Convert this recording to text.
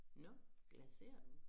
Nå glaserer du